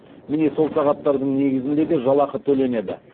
міне сол сағаттардың негізінде де жалақы төленеді